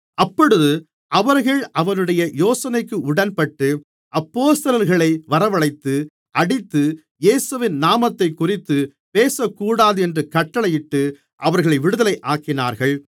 அப்பொழுது அவர்கள் அவனுடைய யோசனைக்கு உடன்பட்டு அப்போஸ்தலர்களை வரவழைத்து அடித்து இயேசுவின் நாமத்தைக்குறித்துப் பேசக்கூடாதென்று கட்டளையிட்டு அவர்களை விடுதலையாக்கினார்கள்